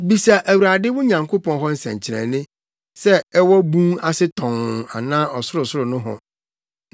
“Bisa Awurade, wo Nyankopɔn hɔ nsɛnkyerɛnne, sɛ ɛwɔ bun ase tɔnn anaa ɔsorosoro nohɔ.”